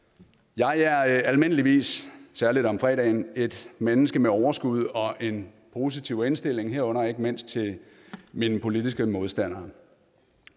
jeg er almindeligvis særlig om fredagen et menneske med overskud og en positiv indstilling herunder ikke mindst til mine politiske modstandere